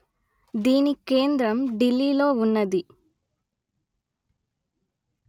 దీని కేంద్రం ఢిల్లీ లో వున్నది